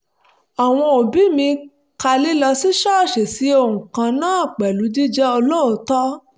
àwọn òbí mi ka lílọ sí ṣọ́ọ̀ṣì sí ohun kan náà pẹ̀lú jíjẹ́ olóòótọ́